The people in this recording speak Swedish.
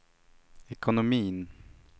ekonomin